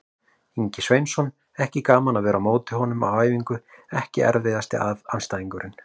Ingvi Sveinsson, ekki gaman að vera á móti honum á æfingu EKKI erfiðasti andstæðingur?